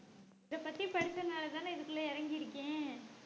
இதப்பத்தி படிச்சனாலதான இதுக்குள்ள இறங்கிருக்கேன்